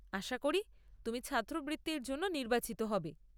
আশা করি তুমি ছাত্রবৃত্তির জন্য নির্বাচিত হবে।